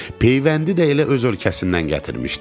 Peyvəndi də elə öz ölkəsindən gətirmişdi.